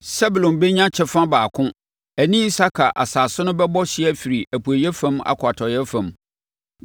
Sebulon bɛnya kyɛfa baako; ɛne Isakar asase no bɛbɔ hyeɛ afiri apueeɛ fam akɔ atɔeɛ fam.